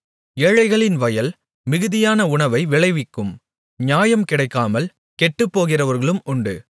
ஏழைகளின் வயல் மிகுதியான உணவை விளைவிக்கும் நியாயம் கிடைக்காமல் கெட்டுப்போகிறவர்களும் உண்டு